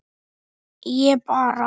Ég bara.